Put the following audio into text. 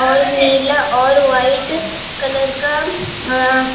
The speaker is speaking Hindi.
और नीला और वाइट कलर का अ--